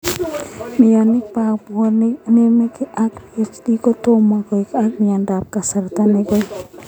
Mioni pa puonik nenamegei ak BHD ko tomo koek ak mionot ap kasarta nekoi.